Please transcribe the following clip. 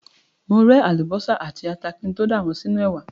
Mo ré àlùbọ́sà àti ata kí n tó dà wọ́n sínú ẹ̀wà.